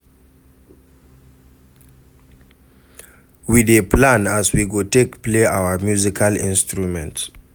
We dey plan as we go take play our musical instruments.